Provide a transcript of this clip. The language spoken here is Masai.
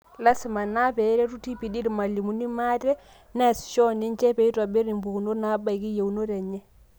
Lasima naa peeretu TPD irmalimuni maate, neasisho oninche peeitobirr impukunot naabaiki yeunot eneye.